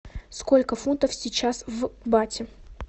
сколько фунтов сейчас в бате